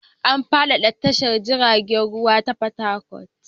An faɗaɗa tashan jiragen ruwa ta Fatakwal.